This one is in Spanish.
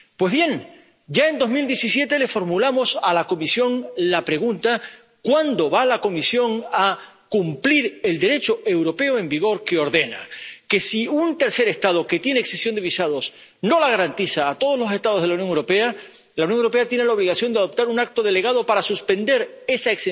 Pues bien, ya en 2017, le formulamos a la Comisión la pregunta de cuándo va a cumplir la Comisión el Derecho europeo en vigor que ordena que, si un tercer Estado que tiene exención de visados no la garantiza a todos los Estados de la Unión Europea, la Unión Europea tiene la obligación de adoptar un acto delegado para suspender esa